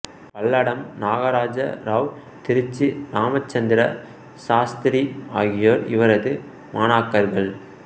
பல்லடம் நாகராஜ ராவ் திருச்சி இராமச்சந்திர சாஸ்திரி ஆகியோர் இவரது மாணாக்கர்கள்